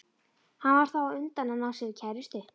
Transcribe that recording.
Hann varð þá á undan að ná sér í kærustu.